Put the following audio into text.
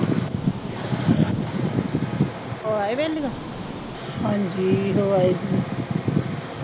ਹਾਂ ਜੀ।